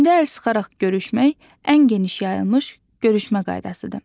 Çində əl sıxaraq görüşmək ən geniş yayılmış görüşmə qaydasıdır.